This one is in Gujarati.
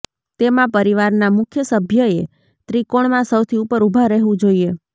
તેમાં પરિવારના મુખ્ય સભ્યએ ત્રિકોણમાં સૌથી ઉપર ઊભા રહેવું જોઈએ